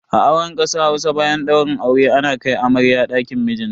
A auren kasar Hausa, bayan daurin aure ana kai amarya dakin mijinta.